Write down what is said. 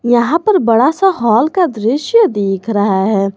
यहां पर बड़ा सा हॉल का दृश्य दिख रहा है।